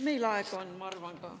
Meil aega on, ma arvan ka.